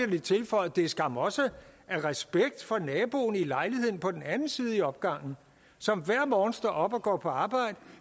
lige tilføjet det er skam også af respekt for naboen i lejligheden på den anden side i opgangen som hver morgen står op og går på arbejde